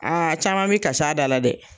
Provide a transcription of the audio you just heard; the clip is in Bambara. Aa caman bɛ ka s'a da la dɛ.